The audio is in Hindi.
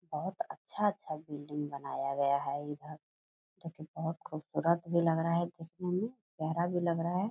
बहुत अच्छा-अच्छा बिल्डिंग बनाया गया है इधर जो कि बुहत खुबसूरत भी लग रहा है देखने में प्यारा भी लग रहा है ।